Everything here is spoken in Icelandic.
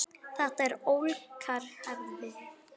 Þetta eru ólíkar hefðir.